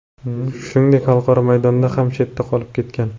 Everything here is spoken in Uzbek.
Shuningdek, xalqaro maydondan ham chetda qolib ketgan.